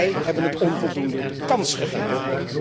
Wij hebben het onvoldoende de kans gegeven.